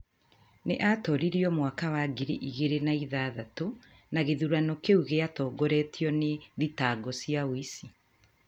Nĩ aatooririo mwaka wa ngiri igĩrĩ na ithathatũ, na gĩthurano kĩu gĩatongoretio nĩ thitango cia ũici.